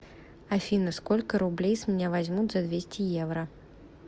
афина сколько рублей с меня возьмут за двести евро